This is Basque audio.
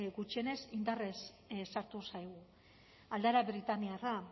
gutxienez indarrez sartu zaigu aldaera britainiarra